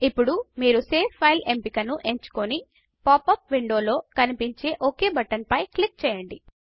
ఇప్పుడు మీరు save file ఎంపిక ను ఎంచుకొని పాప్ అప్ విండో లో కనిపించే ఒక్ బటన్ పై క్లిక్ చెయ్యండి